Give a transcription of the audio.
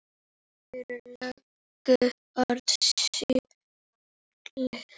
Þau eru löngu orðin sígild.